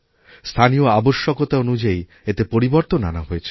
স্থানীয় আবশ্যকতা অনুযায়ী এতে পরিবর্তন আনা হয়েছে